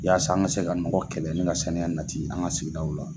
Yasa an ga se ka nɔgɔ kɛlɛ, ni ga saniya nati an ka sigidaw la.